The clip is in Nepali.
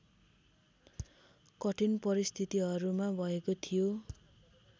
कठिन परिस्थितिहरूमा भएको थियो